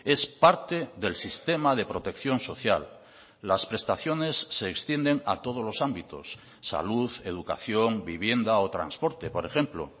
es parte del sistema de protección social las prestaciones se extienden a todos los ámbitos salud educación vivienda o transporte por ejemplo